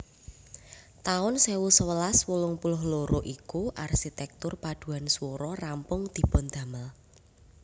taun sewu sewelas wolung puluh loro iku arsitektur paduan swara rampung dipundamel